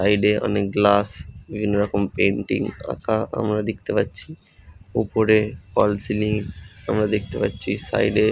বাইরে অনেক গ্লাস বিভিন্ন রকম পেইন্টিং আঁকা আমরা দেখতে পাচ্ছি উপরে ফল সিলিং আমরা দেখতে পাচ্ছি সাইড এ --